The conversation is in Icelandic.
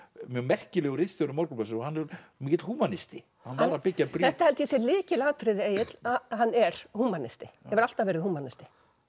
mjög merkilegur ritstjóri Morgunblaðsins og mikill húmanisti hann var að byggja brýr þetta held ég að sé lykilatriði Egill að hann er húmanisti hefur alltaf verið húmanisti